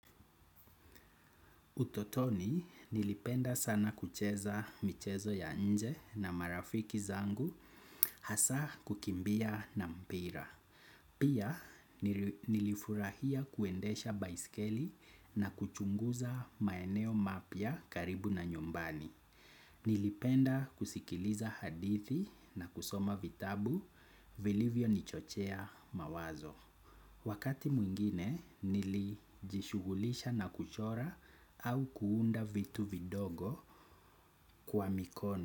Utotoni nilipenda sana kucheza michezo ya nje na marafiki zangu hasa kukimbia na mpira. Pia nilifurahia kuendesha baisikeli na kuchunguza maeneo mapya karibu na nyumbani. Nilipenda kusikiliza hadithi na kusoma vitabu vilivyonichochea mawazo. Wakati mwingine nilijishughulisha na kuchora au kuunda vitu vidogo kwa mikono.